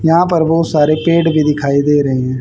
यहां पर बहुत सारे पेड़ भी दिखाई दे रहे हैं।